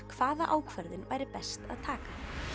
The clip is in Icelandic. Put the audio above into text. hvaða ákvörðun væri best að taka